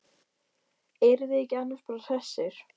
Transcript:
Erum við ekki annars bara hressir?